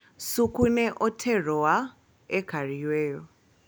Suku ne oterowa e kar yweyo